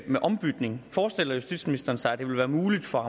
med ombytning forestiller justitsministeren sig at det vil være muligt for